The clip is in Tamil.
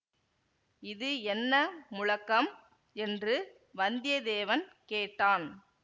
இது என்ன முழக்கம் என்று வந்தியத்தேவன் கேட்டான்